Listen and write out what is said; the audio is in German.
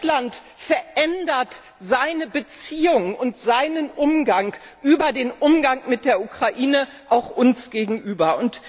Russland verändert seine Beziehungen und seinen Umgang über den Umgang mit der Ukraine auch uns gegenüber.